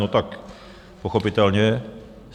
No tak pochopitelně.